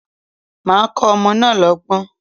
Màá kọ́ ọmọ náà lọ́gbọ́n.